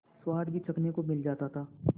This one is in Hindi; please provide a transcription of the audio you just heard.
स्वाद भी चखने को मिल जाता था